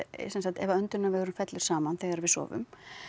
sem sagt ef að fellur saman þegar við sofum